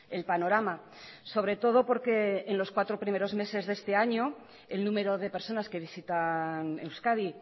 el panorama sobre todo porque en los cuatro primeros meses de este año el número de personas que visitan euskadi